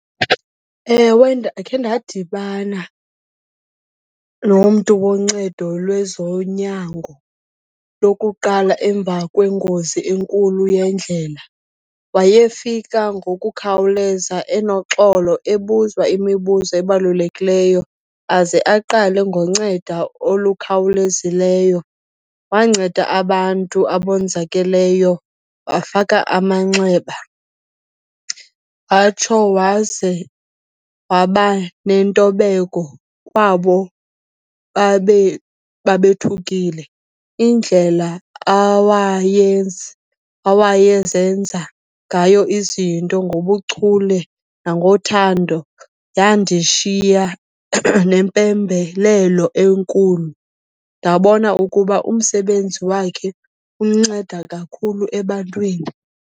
Ewe, ndakhe ndadibana nomntu woncedo lwezonyango lokuqala emva kwengozi enkulu yendlela. Wayefika ngokukhawuleza, enoxolo, ebuza imibuzo ebalulekileyo aze aqale ngoncedo olukhawulezileyo. Wanceda abantu abonzakeleyo, wafaka amanxeba, watsho waze wabanentobeko kwabo babe babe thukile. Indlela awayezenza ngayo izinto ngobuchule nangothando, yandishiya nempembelelo enkulu, ndabona ukuba umsebenzi wakhe unceda kakhulu ebantwini.